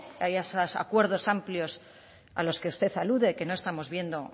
a esos acuerdos amplios a los que usted alude que no estamos viendo